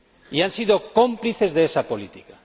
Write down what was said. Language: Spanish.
Y han sido cómplices de esa política.